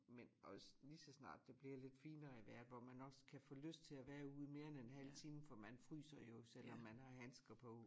Men også lige så snart det bliver lidt finere i vejret hvor man også kan få lyst til at være ude mere end en halv time for man fryser jo selvom man har handsker på